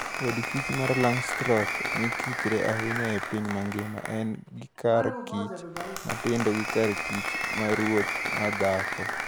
Od kich mar Langstroth mkichre ahinya e piny mangima, en gikar kich matindo gi kar kich maruoth madhako.